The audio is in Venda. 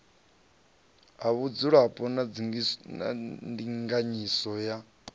ha vhudzulapo na ndinganyiso ya